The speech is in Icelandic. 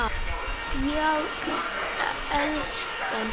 Já, elskan?